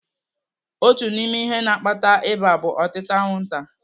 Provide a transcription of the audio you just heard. Otu n'ime ihe na-akpata ịba bụ otịta anwụnta.